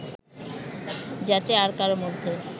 যাতে আর কারো মধ্যে